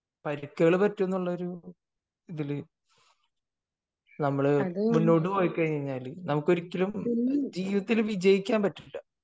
പരിക്കുകൾ പറ്റും എന്നുള്ളത് ഇതിൽ മുന്നോട്ട് പോയിക്കഴിഞ്ഞാൽ നമുക്ക് ഒരിക്കലും ജീവിതത്തിൽ വിജയിക്കാൻ പറ്റില്ല